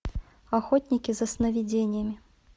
охотники за сновидениями